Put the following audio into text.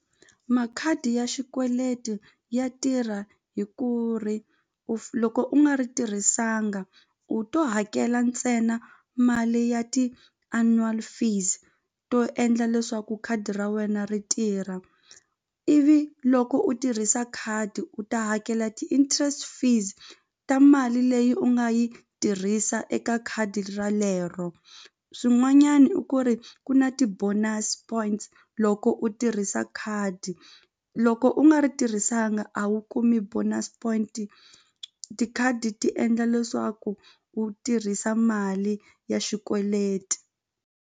Makhadi ya xikweleti ya tirha hi ku ri u loko u nga ri tirhisanga u to hakela ntsena mali ya ti-annual fees to endla leswaku khadi ra wena ri tirha ivi loko u tirhisa khadi u ta hakela ti-interest fees ta mali leyi u nga yi tirhisa eka khadi ra lero swin'wanyani i ku ri ku na ti-bonus points loko u tirhisa khadi loko u nga ri tirhisanga a wu kumi bonus point tikhadi ti endla leswaku u tirhisa mali ya xikweleti.